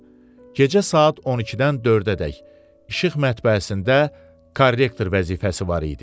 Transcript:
Gecə saat 12-dən 4-ədək işıq mətbəəsində korrektor vəzifəsi var idi.